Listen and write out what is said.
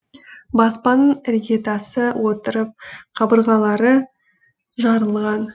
баспананың іргетасы отырып қабырғалары жарылған